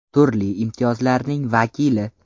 Turli imtiyozlarning vakili.